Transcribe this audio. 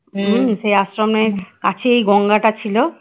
সে আশ্রমের কাছেই গঙ্গা টা ছিল